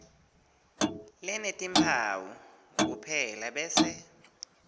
lenetimphawu kuphela bese